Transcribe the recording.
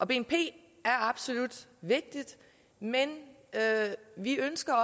bnp er absolut vigtigt men vi ønsker